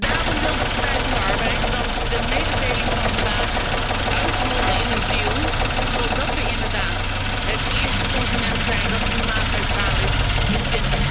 Daarom wil de Partij van de Arbeid dat de mededeling van vandaag uitmondt in een deal zodat we inderdaad het eerste continent zijn dat klimaatneutraal is in